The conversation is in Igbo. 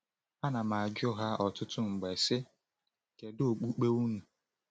Ana m-ajụ ha ọtụtụ mgbe, sị: Kedu okpukpe unu?